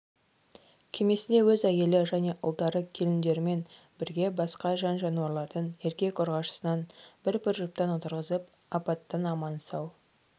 кемесіне өз әйелі ұлдары және келіндерімен бірге басқа жан-жануарлардың еркек-ұрғашысынан бір-бір жұптан отырғызып апаттан аман-сау